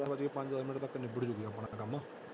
ਪੰਜ ਵਜੇ ਤੱਕ ਨਿਬੜ ਜਾਊਗਾ ਆਪਣਾ ਤਾਂ ਕੰਮ।